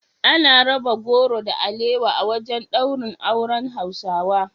Ana raba goro da alewa a wajen daurin auren Hausawa